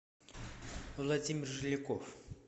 владимир жиляков